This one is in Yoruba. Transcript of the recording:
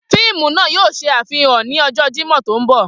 Fiimu naa yoo ṣe afihan ni ọjọ Jimọ to nbọ.